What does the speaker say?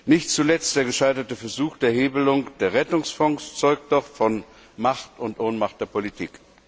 Nicht zuletzt der gescheiterte Versuch der Hebelung der Rettungsfonds zeugt doch von Macht und Ohnmacht der Politik.